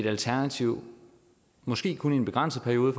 alternativ måske kun i en begrænset periode